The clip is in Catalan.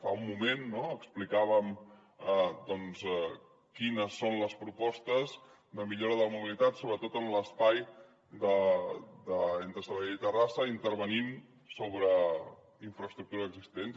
fa un moment explicàvem doncs quines són les propostes de millora de la mobilitat sobretot en l’espai entre sabadell i terrassa intervenint sobre infraestructures existents